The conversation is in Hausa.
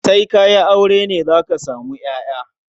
Sai ka yi aure ne za ka samu ƴaƴa.